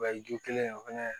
O ye ju kelen ye o fɛnɛ